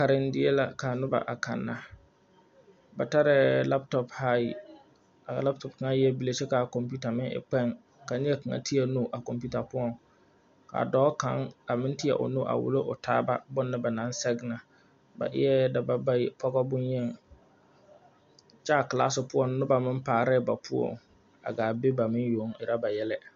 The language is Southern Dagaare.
Karendie la kaa nobɔ kanna ba tarɛɛ laptop ayi laptop kaŋa eɛɛ bile kyɛ kaa kɔmpiuta meŋ e kpeŋ teɛ nu a kɔmpiuta poɔŋ ka dɔɔ kaŋ a meŋ teɛ o nu a wullo o taaba bone ba naŋ sɛge na ba eɛɛ dabɔ bayi pɔtɔ bonyeni kyɛ klaase poɔŋ nobɔ meŋ arɛɛ ba poɔŋ a gaa be ba meŋ yoŋ erɛ ba yɛlɛ.